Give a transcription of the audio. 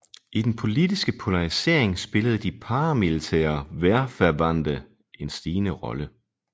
I den politiske polarisering spillede de paramilitære Wehrverbände en stigende rolle